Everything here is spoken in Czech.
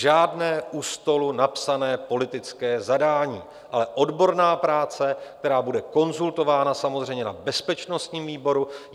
Žádné u stolu napsané politické zadání, ale odborná práce, která bude konzultována samozřejmě na bezpečnostním výboru.